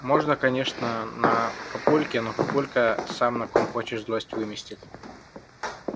можно конечно на папульке но папулька сам на ком хочешь злость выместит